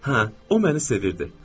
Hə, o məni sevirdi.